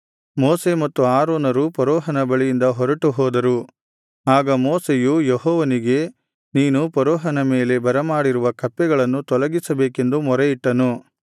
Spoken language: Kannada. ಮೋಶೆ ಮತ್ತು ಆರೋನರು ಫರೋಹನ ಬಳಿಯಿಂದ ಹೊರಟು ಹೋದರು ಆಗ ಮೋಶೆಯು ಯೆಹೋವನಿಗೆ ನೀನು ಫರೋಹನ ಮೇಲೆ ಬರಮಾಡಿರುವ ಕಪ್ಪೆಗಳನ್ನು ತೊಲಗಿಸಬೇಕೆಂದು ಮೊರೆಯಿಟ್ಟನು